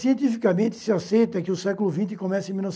Cientificamente, se aceita que o século vinte começa em mil